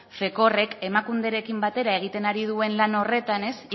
emakunderekin batera egiten ari duen lan horretan